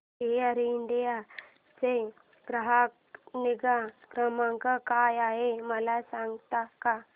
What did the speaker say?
air India चा ग्राहक निगा क्रमांक काय आहे मला सांगता का